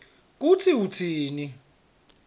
kutsi utsini